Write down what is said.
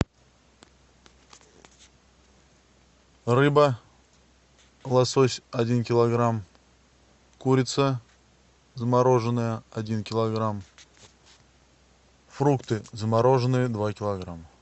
рыба лосось один килограмм курица замороженная один килограмм фрукты замороженные два килограмма